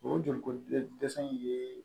O joli ko dɛsɛ dɛsɛ in ye